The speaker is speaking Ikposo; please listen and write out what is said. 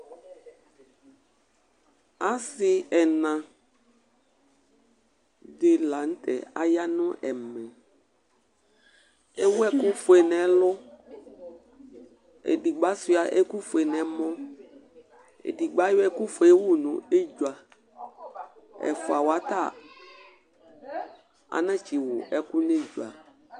Asi ɛna di la n'tɛ aya nu ɛmɛ, ewu ɛku fue n'ɛlu, edigbo ashua ɛku fue n'ɛmɔ, edigbo ayɔ ɛku fue wù n'edzua, ɛfuawa ta anatsi wù ɛku n'edzua